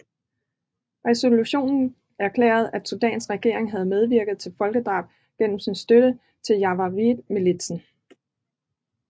Resolutionen erklærede at Sudans regering havde medvirket til folkedrab gennem sin støtte til janjaweedmilitsen